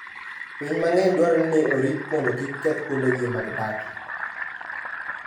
Winy mang'eny dwarore ni orit mondo kik keth kuondegi ma gidakie.